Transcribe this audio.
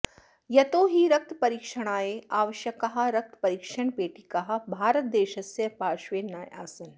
यतो हि रक्तपरीक्षणाय आवश्यकाः रक्तपरीक्षणपेटिकाः भारतदेशस्य पार्श्वे नासन्